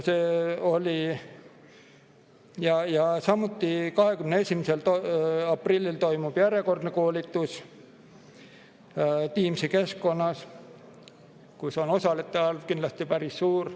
Samuti toimub 21. aprillil järjekordne koolitus Teamsi keskkonnas, kus osalejate arv on kindlasti päris suur.